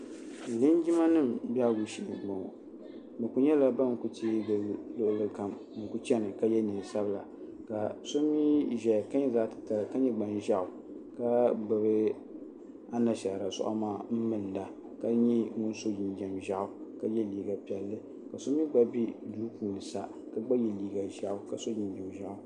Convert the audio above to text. Linjima nima behigu shee m boŋɔ bɛ kuli nyɛla ban kuli tee gili luɣuli kam n kuli chena ka ye niɛn'sabla ka so mee ʒɛya ka nyɛ zaɣa titali ka nyɛ gbanʒeɣu ka gbibi anshaara suaɣu maa m minda ka nyɛ ŋun so jinjiɛm ʒaɣu ka ye liiga piɛlli ka so mee gba be duu puuni sa ka gba ye liiga ʒaɣu ka so jinjiɛm ʒaɣu .